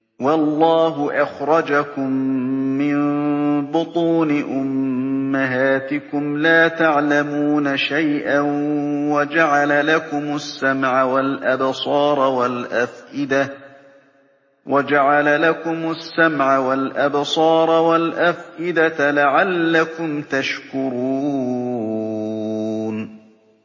وَاللَّهُ أَخْرَجَكُم مِّن بُطُونِ أُمَّهَاتِكُمْ لَا تَعْلَمُونَ شَيْئًا وَجَعَلَ لَكُمُ السَّمْعَ وَالْأَبْصَارَ وَالْأَفْئِدَةَ ۙ لَعَلَّكُمْ تَشْكُرُونَ